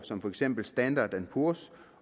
som for eksempel standard poors